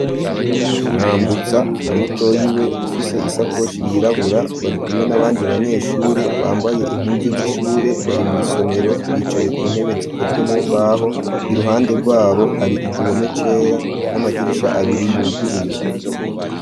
Nkambutsa na Mutoyi we ufise isakoshi yirabura barikumwe nabandi banyeshure bambaye impuzu z'ishure bari mu isomero bicaye ku ntebe zikozwe mumbaho iruhande rwabo hari igihome cera n'amadirisha abiri yuguruye.